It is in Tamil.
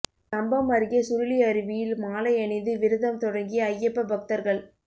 கம்பம் அருகே சுருளி அருவியில் மாலை அணிந்து விரதம் தொடங்கிய அய்யப்ப பக்தா்கள்